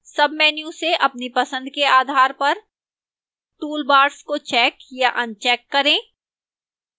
sub menu से अपनी पसंद के आधार पर toolbars को check या अनचेक करें